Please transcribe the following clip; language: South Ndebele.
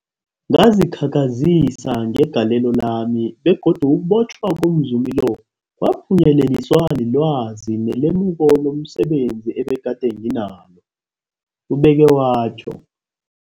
Ngazikhakhazisa ngegalelo lami, begodu ukubotjhwa komzumi lo kwaphunyeleliswa lilwazi nelemuko lomse benzi ebegade nginalo, ubeke watjho.